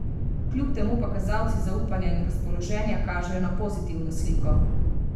Kljub temu pa kazalci zaupanja in razpoloženja kažejo na pozitivno sliko.